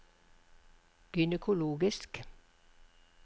gynekologisk